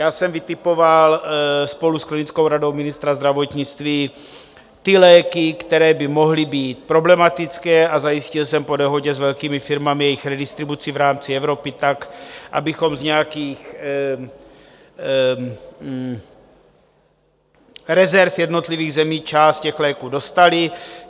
Já jsem vytipoval spolu s klinickou radou ministra zdravotnictví ty léky, které by mohly být problematické, a zajistil jsem po dohodě s velkými firmami jejich redistribuci v rámci Evropy tak, abychom z nějakých rezerv jednotlivých zemí část těch léků dostali.